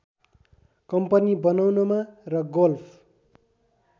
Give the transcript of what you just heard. company बनाउनमा र golf